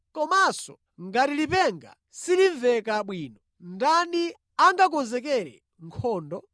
Komanso ngati lipenga silimveka bwino, ndani angakonzekere nkhondo?